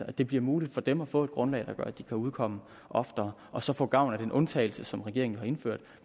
at det bliver muligt for dem at få et grundlag der gør at de kan udkomme oftere og så få gavn af den undtagelse som regeringen har indført